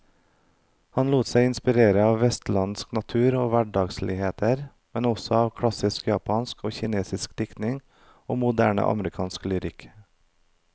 Han lot seg inspirere av vestlandsk natur og hverdagsligheter, men også av klassisk japansk og kinesisk diktning og moderne amerikansk lyrikk.